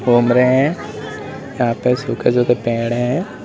घूम रहे हैं यहां पे सुखे सुखे पेड़ है।